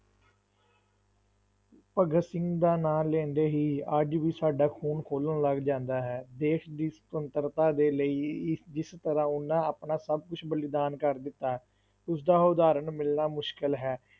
ਭਗਤ ਸਿੰਘ ਦਾ ਨਾਂ ਲੈਂਦੇ ਹੀ ਅੱਜ ਵੀ ਸਾਡਾ ਖ਼ੂਨ ਖੋਲਣ ਲੱਗ ਜਾਂਦਾ ਹੈ, ਦੇਸ ਦੀ ਸੁਤੰਤਰਤਾ ਦੇ ਲਈ ਇਸ ਜਿਸ ਤਰ੍ਹਾਂ ਉਹਨਾਂ ਆਪਣਾ ਸਭ ਕੁਛ ਬਲੀਦਾਨ ਕਰ ਦਿੱਤਾ, ਉਸਦਾ ਉਦਾਹਰਣ ਮਿਲਣਾ ਮੁਸ਼ਕਲ ਹੈ।